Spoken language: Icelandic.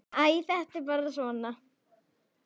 Æ, þetta er bara svona.